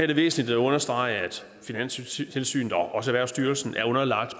det væsentligt at understrege at finanstilsynet og også erhvervsstyrelsen er underlagt